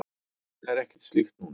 Það er ekkert slíkt núna.